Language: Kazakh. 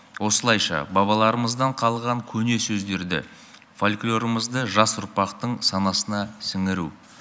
осылайша бабаларымыздан қалған көне сөздерді фольклорымызды жас ұрпақтың санасына сіңіру